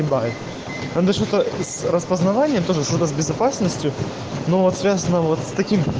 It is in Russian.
распознавание тоже что-то с безопасностью но связано вот так